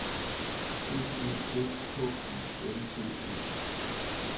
B E S K Y L D E